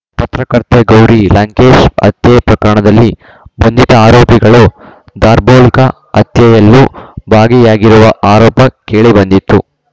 ಪತ್ರಕರ್ತೆ ಗೌರಿ ಲಂಕೇಶ್‌ ಹತ್ಯೆ ಪ್ರಕರಣದಲ್ಲಿ ಬಂಧಿತ ಆರೋಪಿಗಳು ದಾರ್ಭೋಲ್ಕ ಹತ್ಯೆಯಲ್ಲೂ ಭಾಗಿಯಾಗಿರುವ ಆರೋಪ ಕೇಳಿಬಂದಿತ್ತು